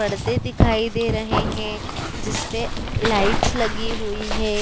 परदे दिखाई दे रहे हैं जिसपे लाइट्स लगी हुई हैं।